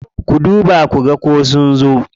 Ku duba ku ga ko sun zo.